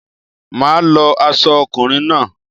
Máà lo aso okùnrin náà